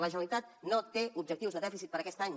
la generalitat no té objectius de dèficit per a aquest any